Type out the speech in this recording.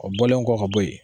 O bɔlen kɔ ka bɔ yen.